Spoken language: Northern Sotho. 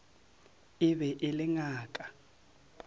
e be e le ngaka